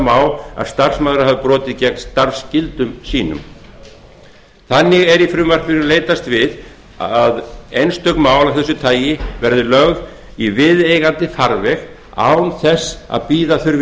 má að starfsmaður hafi brotið gegn starfsskyldum sínum þannig er í frumvarpinu leitast við að einstök mál af þessu tagi verði lögð í viðeigandi farveg án þess að bíða þurfi